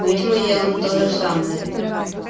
но ведь мы делаем то же самое